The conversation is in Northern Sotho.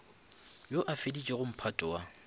yo a feditšego mphato wa